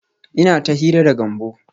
Ina ta hira da Gambo